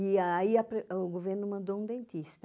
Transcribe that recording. E aí a pre, o governo mandou um dentista.